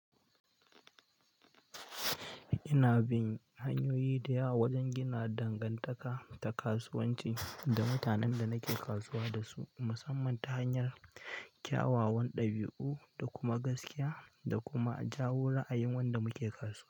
Ina bin hanyoyi da yawa wajen gina dangantaka ta kasuwanci da mutanen da nake kasuwa da su, musamman ta hanyar kyawawan ɗabi'u da kuma gaskiya da kuma jawo ra'a yin wanda muke kasuwa.